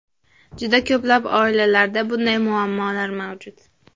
Juda ko‘plab oilalarda bunday muammolar mavjud.